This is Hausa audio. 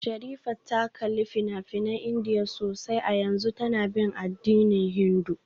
Sherifat ta kalli fina-finan Indiya sosai a yanzu tana bin addinin Hindu